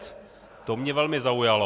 To mě velmi zaujalo.